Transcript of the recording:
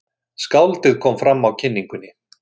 Skáldið kom fram á kynningunni.